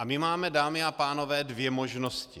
A my máme, dámy a pánové, dvě možnosti.